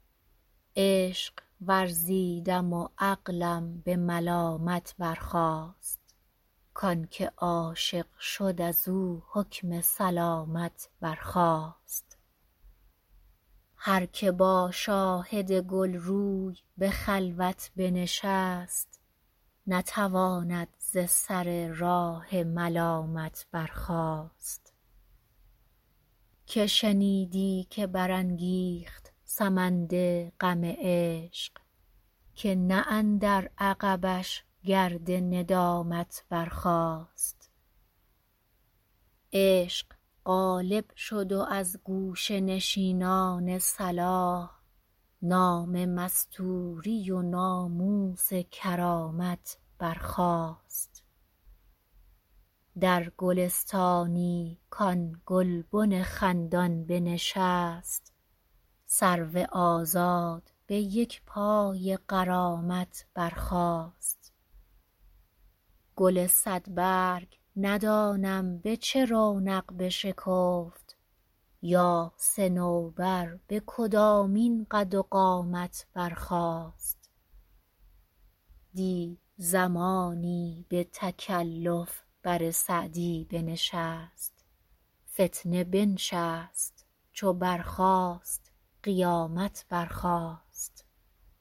عشق ورزیدم و عقلم به ملامت برخاست کان که عاشق شد از او حکم سلامت برخاست هر که با شاهد گل روی به خلوت بنشست نتواند ز سر راه ملامت برخاست که شنیدی که برانگیخت سمند غم عشق که نه اندر عقبش گرد ندامت برخاست عشق غالب شد و از گوشه نشینان صلاح نام مستوری و ناموس کرامت برخاست در گلستانی کآن گلبن خندان بنشست سرو آزاد به یک پای غرامت برخاست گل صدبرگ ندانم به چه رونق بشکفت یا صنوبر به کدامین قد و قامت برخاست دی زمانی به تکلف بر سعدی بنشست فتنه بنشست چو برخاست قیامت برخاست